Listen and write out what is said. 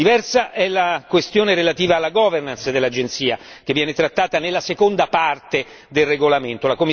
Diversa è la questione relativa alla governance dell'Agenzia, che viene trattata nella seconda parte del regolamento.